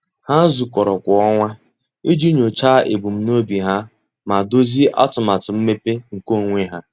Há zùkọ́rọ́ kwa ọnwa iji nyòcháá ebumnobi ha ma dòzìé atụmatụ mmepe nke onwe ha.